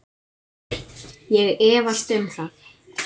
Ég efast um það.